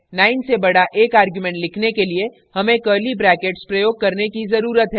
9 से बड़ा एक argument लिखने के लिए हमें curly brackets प्रयोग करने की ज़रुरत है